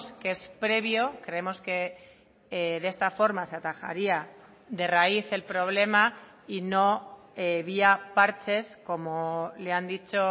que es previo creemos que de esta forma se atajaría de raíz el problema y no vía parches como le han dicho